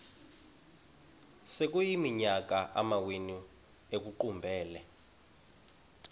sekuyiminyaka amawenu ekuqumbele